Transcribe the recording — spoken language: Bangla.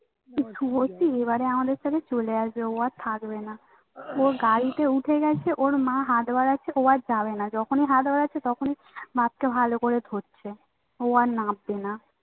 সত্যি মানে আমাদের সাথে চলে আসবে ও আর থাকবে না ওর গাড়িতে উঠে গেছে ওর মা হাত বাড়াচ্ছে ও আর যাবে না যখন ই হাত বাড়াচ্ছে তখন ই হাতটা ভালো করে ধরছে ও আর নামবে না